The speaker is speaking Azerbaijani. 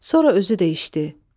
Sonra özü də içdi.